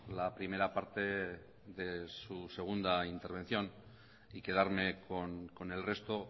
la primera parte de su segunda intervención y quedarme con el resto